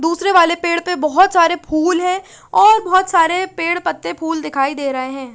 दुसरे वाले पेड़ पे बोहोत सारे फूल है और बोहोत सारे पेड़ पत्ते फूल दिखाई दे रहे है।